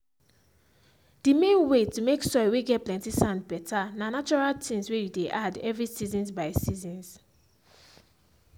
the main way to make soil whey get plenty sand better na natural things whey you dey add every seasons by seasons